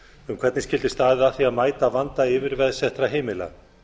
um hvernig skyldi staðið að því að mæta anda yfirveðsettra heimila